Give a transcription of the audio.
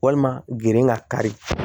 Walima gen ka kari